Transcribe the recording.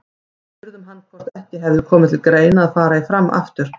Við spurðum hann hvort ekki hefði komið til greina að fara í Fram aftur?